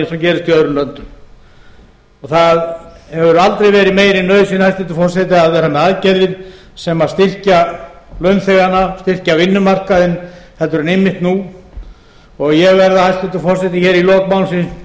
og gerist í öðrum löndum það hefur aldrei verið meiri nauðsyn hæstvirtur forseti að vera með aðgerðir sem styrkja launþegana styrkja vinnumarkaðinn heldur en einmitt nú og ég verð hæstvirtur forseti hér í lok